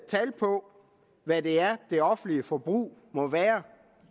tal på hvad det er det offentlige forbrug må være